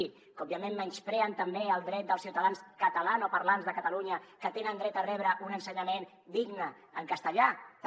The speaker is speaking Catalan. que òbviament menyspreen també el dret dels ciutadans catalanoparlants de catalunya que tenen dret a rebre un ensenyament digne en castellà també